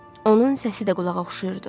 Onun səsi də qulağa oxşayırdı.